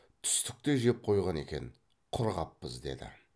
түстікті жеп қойған екен құр қаппыз деді